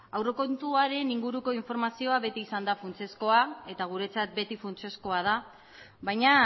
aurrekontuaren inguruko informazio beti izan da funtsezkoa eta guretzat beti funtsezkoa da baina